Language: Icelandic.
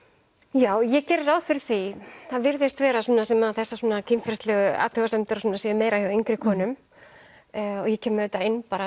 já ég geri ráð fyrir því það virðist vera svona sem þessar kynferðislegu athugasemdir og svona séu meira hjá yngri konum og ég kem auðvitað inn bara